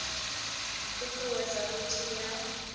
t ut uwedza vhuthihi ha